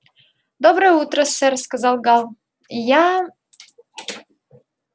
доброе утро сэр сказал гаал я